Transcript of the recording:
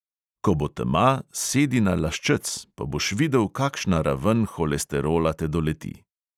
Ko bo tema, sedi na laščec, pa boš videl, kakšna raven holesterola te doleti.